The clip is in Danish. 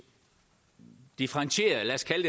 differentieret lad os kalde